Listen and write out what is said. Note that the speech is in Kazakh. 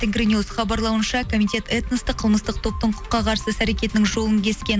тенгри ньюс хабарлауынша комитет этностың қылмыстық топтық құқыққа қарсы іс әрекетінің жолын кескен